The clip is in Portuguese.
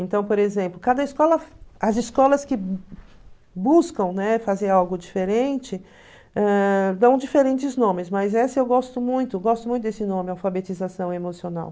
Então, por exemplo, cada escola as escolas que buscam, né, fazer algo diferente ãh dão diferentes nomes, mas essa eu gosto muito, gosto muito desse nome, alfabetização emocional.